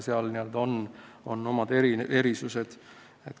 Seal on omad erisused.